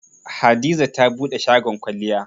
Hadiza ta buɗe shagon kwalliya.